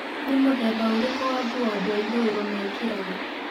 nĩ mũthemba ũrikũ wa ngũo andũ a ĩthũiro mekĩraga